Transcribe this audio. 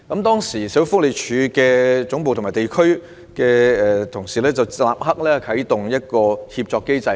當時，社署總部和地區辦事處的同事立刻啟動協作機制。